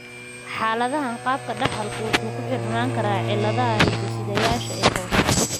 Xaaladahan, qaabka dhaxalku wuxuu ku xirnaan karaa cilladaha hidde-sideyaasha ee hoose.